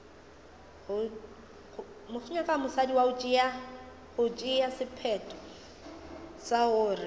go tšea sephetho sa gore